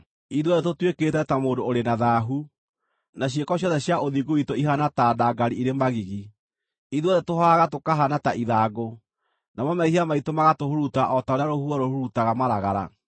Ithuothe tũtuĩkĩte ta mũndũ ũrĩ na thaahu, na ciĩko ciothe cia ũthingu witũ ihaana ta ndangari irĩ magigi; ithuothe tũhohaga tũkahaana ta ithangũ, namo mehia maitũ magatũhuruta o ta ũrĩa rũhuho rũhuruutaga maragara.